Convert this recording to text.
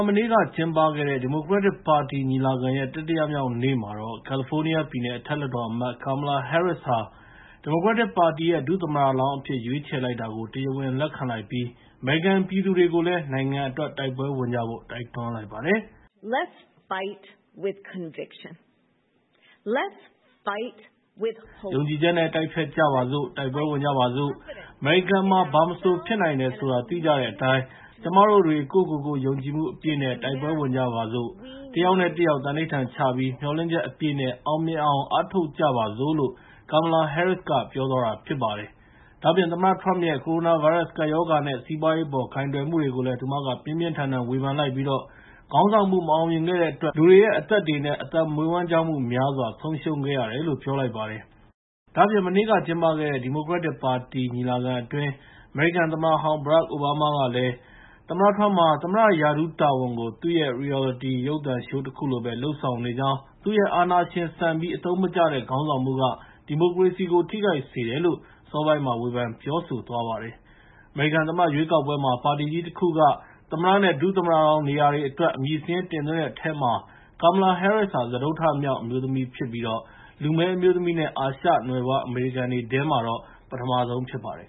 မနေ့က ကျင်းပခဲ့တဲ့ ဒီမိုကရက်တစ်ပါတီညီလာခံရဲ့ တတိယမြောက်နေ့မှာတော့ ကယ်လီဖိုးနီးယားပြည်နယ် အထက်လွှတ်တော်အမတ် Kamala Harris ဟာ ဒီမိုကရက်တစ်ပါတီရဲ့ ဒု-သမ္မတလောင်းအဖြစ် ရွေးချယ်လိုက်တာကို တရားဝင်လက်ခံလိုက်ပြီး၊ အမေရိကန်ပြည်သူတွေကိုလည်း နိုင်ငံအတွက် တိုက်ပွဲဝင်ကြဖို့ တိုက်တွန်းလိုက်ပါတယ်။ "ယုံကြည်ချက်နဲ့ တိုက်ဖျက်ကြပါစို့။ အမေရိကန်မှာ ဘာမဆို ဖြစ်နိုင်တယ်ဆိုတာ သိကြတဲ့အတိုင်း၊ ကျမတို့တွေ ကိုယ့်ကိုကိုယ်ယုံကြည်မှုအပြည်နဲ့ တိုက်ပွဲဝင်ကြပါစို့။ တယောက်နဲ့တယောက် သံဓိဌာန်ချပြီး မျှော်လင့်ချက်အပြည့်နဲ့ အောင်မြင်အောင် အားထုတ်ကြပါစို့လို့။” Kamala Harris က ပြောကြားသွားတာဖြစ်ပါတယ်။ ဒါ့အပြင် သမ္မတထရမ့်ရဲ့ ကိုရိုနာဗိုင်းရပ်စ်ကပ်ရောဂါ နဲ့ စီးပွားရေးအပေါ် ကိုင်တွယ်မှုတွေကိုလည်း သူမက ပြင်းပြင်းထန်ထန်ဝေဖန်လိုက်ပြီး၊ ခေါင်းဆောင်မှု မအောင်မြင်ခဲ့တဲ့အတွက် လူတွေရဲ့ အသက်တွေနဲ့ အသက်မွေးဝမ်းကျောင်းမှုတွေများစွာ ဆုံးရှုံးခဲ့ရတယ်လို့ ပြောလိုက်ပါတယ်။ ဒါ့အပြင် မနေ့က ကျင်းပတဲ့ ဒီမိုကရက်ပါတီညီလာခံအတွင်း အမေရိကန်သမ္မတဟောင်း Barak Obama က၊ သမ္မတထရမ့်ဟာ သမ္မတ ရာထူးတာဝန်ကို သူ့ရဲ့ Reality ရုပ်သံရှိုးတခုလိုပဲ လုပ်ဆောင်နေကြောင်း သူ့ရဲ့ အာဏာရှင်ဆန်ပြီး အသုံးမကျတဲ့ခေါင်းဆောင်မှုက ဒီမိုကရေစီကို ထိခိုက်စေတယ်လို့ အစောပိုင်းက ဝေဖန် ပြောဆိုသွားပါတယ်။ အမေရိကန်သမ္မတ ရွေးကောက်ပွဲမှာ ပါတီကြီးတခုက သမ္မတ နဲ့ ဒု-သမ္မတလောင်းနေရာတွေအတွက် အမည်စာရင်းတင်သွင်းတဲ့အထဲမှာ Kamala Harris ဟာ စတုတ္တမြောက် အမျိုးသမီးဖြစ်ပြီး လူမည်းအမျိုးသမီးနဲ့ အာရှနွယ်ဖွားအမေရိကန်တွေထဲမှာတော့ ပထမဆုံးဖြစ်ပါတယ်